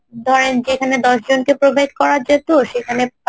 ধরেন যেখানে দশজনকে provide করা যেতো সেখানে